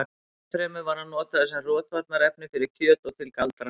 enn fremur var hann notaður sem rotvarnarefni fyrir kjöt og til galdra